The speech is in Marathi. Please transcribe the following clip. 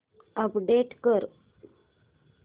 अपडेट कर